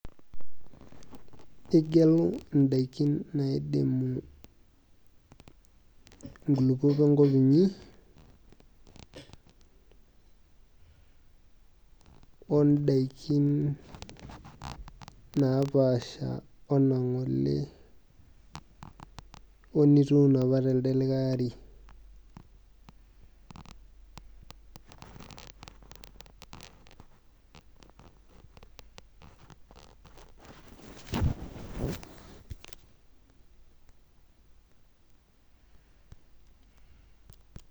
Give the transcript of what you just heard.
Igelu idaikin naidimu inkulukuok enkop inyi, odaikin napaasha onang'ole, onituuno apa telde likae ari.